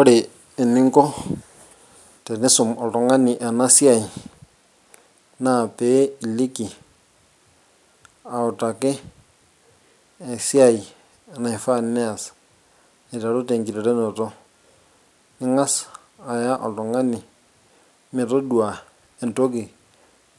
ore eninko tenisum oltung'ani ena siai naa pee iliki autaki esiai naifaa neyas aiteru tenkiterunoto ing'as aya oltung'ani metodua entoki